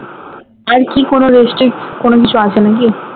আর কি কোনো restrict কোনো কিছু আছে নাকি?